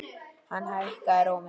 Hann hækkaði róminn.